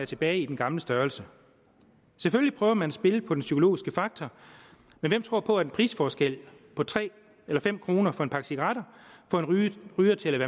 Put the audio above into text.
tilbage i den gamle størrelse selvfølgelig prøver man at spille på den psykologiske faktor men hvem tror på at en prisforskel på tre eller fem kroner for en pakke cigaretter får en ryger til